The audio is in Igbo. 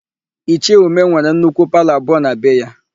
Ichie Umeh nwere nnukwu palọ abụọ na be ya.